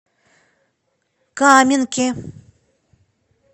каменке